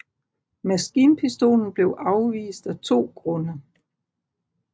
Maskinpistolen blev afvist af to grunde